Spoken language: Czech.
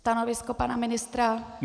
Stanovisko pana ministra?